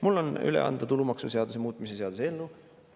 Mul on üle anda tulumaksuseaduse muutmise seaduse eelnõu.